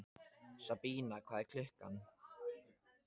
Sabína, hvað er klukkan?